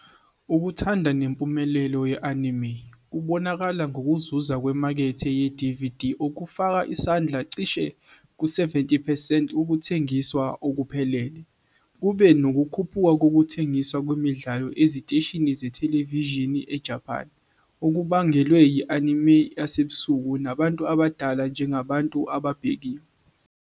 Ukuthandwa nempumelelo ye-anime kubonakala ngokuzuza kwemakethe ye-DVD, okufaka isandla cishe ku-70 percent wokuthengiswa okuphelele. Kube nokukhuphuka kokuthengiswa kwemidlalo eziteshini zethelevishini eJapan, okubangelwe yi- anime yasebusuku nabantu abadala njengabantu ababhekiwe.